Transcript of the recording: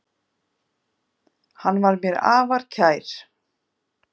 Hann var mér afar kær.